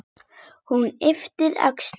Hún ypptir öxlum.